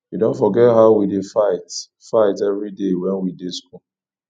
you don forget how we dey fight fight every day wen we dey school